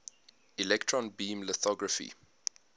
electron beam lithography